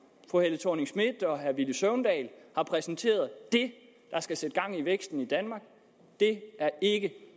fru helle thorning schmidt og herre villy søvndal har præsenteret det der skal sætte gang i væksten i danmark er ikke